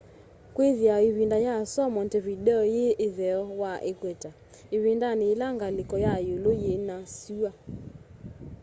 kwithiawa ivinda ya sua montevideo yi itheo wa equator ivindani yila ngaliko ya iulu yina sua